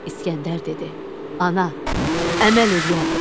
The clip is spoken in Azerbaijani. İsgəndər dedi: Ana, əməl eləyərəm.